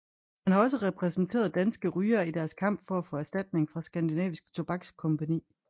Han har også repræsenteret danske rygere i deres kamp for at få erstatning fra Skandinavisk Tobakskompagni